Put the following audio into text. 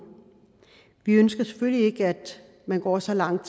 vi ønsker selvfølgelig ikke at man går så langt